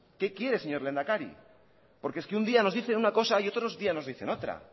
qué quiere señor lehendakari porque es que un día nos dice una cosa y otro día nos dicen otra